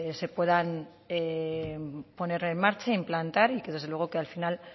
se puedan poner en marcha implantar y que desde luego que al final